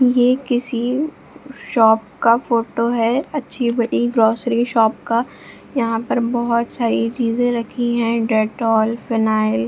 ये किसी शॉप का फोटो है अच्छी बड़ी ग्रोसरी शॉप का यहाँ पर बहुत सारी चीजे रखी है डेटॉल फिनाइल --